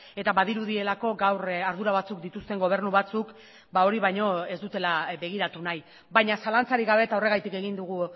eta badirudielako gaur ardura batzuk dituzten gobernu batzuk hori baino ez dutela begiratu nahi baina zalantzarik gabe eta horregatik egin dugu